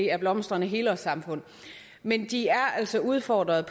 er blomstrende helårssamfund men de er altså udfordret